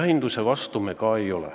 Jahinduse vastu me ka ei ole.